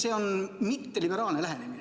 See on mitteliberaalne lähenemine.